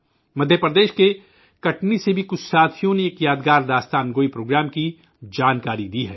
مدھیہ پردیش کے کٹنی کے کچھ ساتھیوں نے بھی ایک یادگار داستان گوئی پروگرام کے بارے میں بتایا ہے